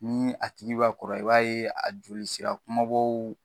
Ni a tigi be ka kɔrɔ, i b'a ye a joli sira kumabaw